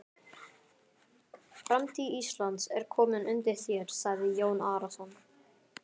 Framtíð landsins er komin undir þér, sagði Jón Arason.